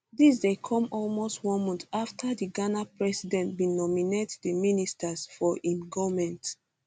dis dey come almost one month afta di ghana president bin nominate di ministers for im goment